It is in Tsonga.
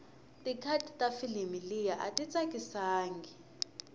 ticut tafilimu liya ayitsakisangi